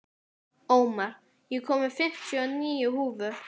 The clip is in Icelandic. Ómar, ég kom með fimmtíu og níu húfur!